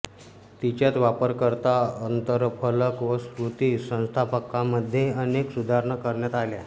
तिच्यात वापरकर्ता अंतरफलक व स्मृती व्यवस्थापनामध्ये अनेक सुधारणा करण्यात आल्या